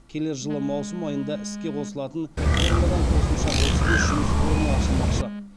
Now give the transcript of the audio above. келер жылы маусым айында іске қосылатын фермада қосымша отыз бес жұмыс орны ашылмақшы